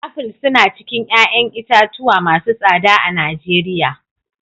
Aful suna cikin 'ƴa'ƴan itatuwa masu tsada a Nijeriya.